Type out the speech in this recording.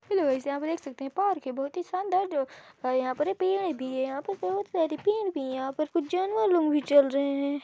Hello guys यहां पर देख सकते हैं पार्क है बहुत शानदार जो है यहां पर पेड़ भी है यहां पर बहुत सारे पेड़ भी हैं यहां पर कुछ जानवर लोग भी चल रहे हैं।